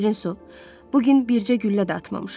Şirin su, bu gün bircə güllə də atmamışam.